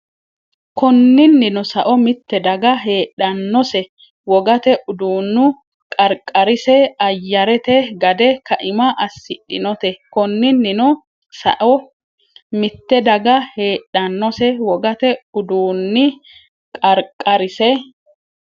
Konninnino sao mitte daga heedhannose wogate uduunni qarqarise ayyarete gade kaima assidhinote Konninnino sao mitte daga heedhannose wogate uduunni qarqarise.